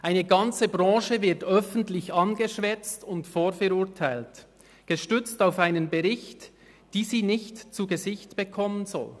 Eine ganze Branche wird öffentlich angeschwärzt und vorverurteilt, gestützt auf einen Bericht, den sie nicht zu Gesicht bekommen soll.